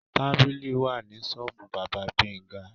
Tàbìlì wà ni ṣọ́ọ́bù bábá Gbénga.